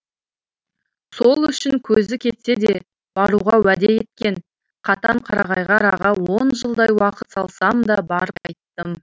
сол үшін көзі кетсе де баруға уәде еткен катонқарағайға араға он жылдай уақыт салсам да барып қайттым